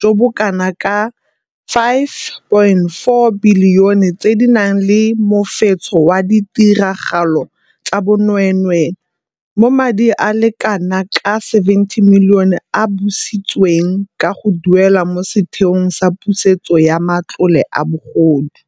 jo bo kanaka R5.4 bili one tse di nang le mofetsho wa ditiragalo tsa bonwee nwee, mo madi a le kana ka R70 milione a busitsweng ka go duelwa mo Setheong sa Pusetso ya Matlole a Bogodu.